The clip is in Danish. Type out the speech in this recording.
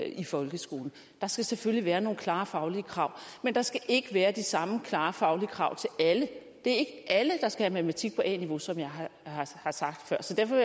i folkeskolen der skal selvfølgelig være nogle klare faglige krav men der skal ikke være de samme klare faglige krav til alle det er ikke alle der skal have matematik på a niveau som jeg har sagt før så derfor